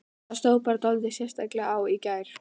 Það stóð bara dálítið sérstaklega á í gær.